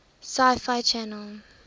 sci fi channel